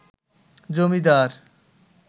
জমিদার